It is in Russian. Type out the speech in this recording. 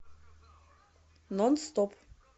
нон стоп